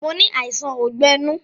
Mo ni àìsàn ogbẹ́ inú